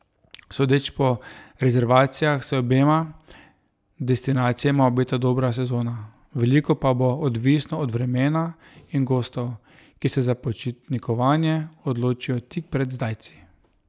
Sodeč po rezervacijah se obema destinacijama obeta dobra sezona, veliko pa bo odvisno od vremena in gostov, ki se za počitnikovanje odločijo tik pred zdajci.